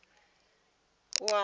ḓo tea u a ambara